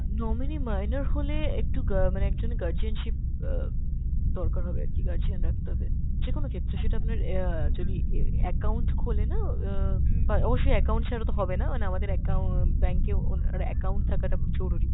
nominee minor হলে একটু গা~ মানে একজন guardianship অ্যাঁ দরকার হবে আরকি, guardian রাখতে হবে। যেকোনো ক্ষেত্রে, সেটা আপনার অ্যাঁ যদি এ~ account খোলে না অ্যাঁ অবশ্যই account ছাড়া তো হবে না, মানে আমাদের account bank এ ওনার account থাকাটা জরুরি,